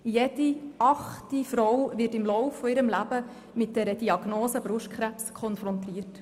Jede achte Frau wird im Lauf ihres Lebens mit der Diagnose Brustkrebs konfrontiert.